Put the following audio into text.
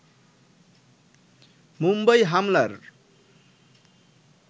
মুম্বাই হামলার